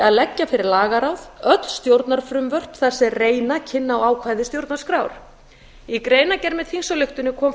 að leggja fyrir lagaráð öll stjórnarfrumvörp þar sem reyna kynni á ákvæði stjórnarskrár í greinargerð með þingsályktunartillögunni kom